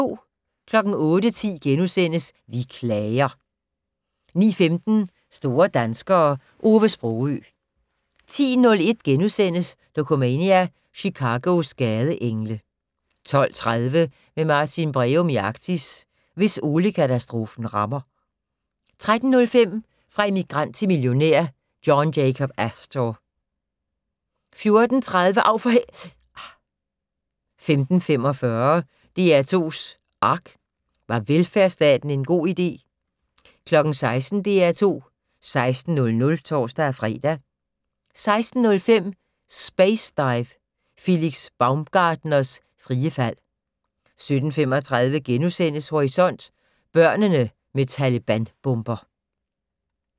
08:10: Vi klager * 09:15: Store danskere - Ove Sprogøe 10:01: Dokumania: Chicagos gadeengle * 12:30: Med Martin Breum i Arktis: Hvis oliekatastrofen rammer 13:05: Fra immigrant til millionær: John Jacob Astor 14:30: Av for h......! 15:45: DR2's ARK - Var velfærdsstaten en god idé? 16:00: DR2 16:00 (tor-fre) 16:05: Space Dive - Felix Baumgartners frie fald 17:35: Horisont: Børnene med Taleban-bomber *